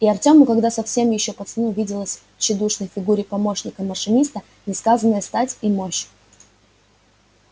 и артёму тогда совсем ещё пацану виделась в тщедушной фигуре помощника машиниста несказанная стать и мощь